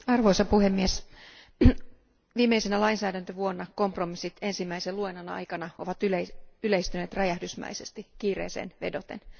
Arvoisa puhemies, viimeisenä lainsäädäntövuonna kompromissit ensimmäisen käsittelyn aikana ovat yleistyneet räjähdysmäisesti kiireeseen vedoten.